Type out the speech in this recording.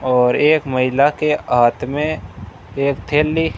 और एक महिला के हाथ में एक थैली--